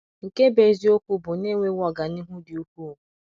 nke bụ eziokwu bụ, na enwewo ọganihu dị ukwuu.